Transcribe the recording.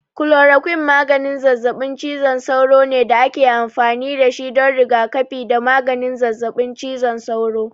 Kulorokwin maganin zazzaɓin cizon sauro ne da ake amfani da shi don rigakafi da maganin zazzaɓin cizon sauro.